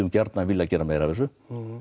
gjarnan vilja gera meira af þessu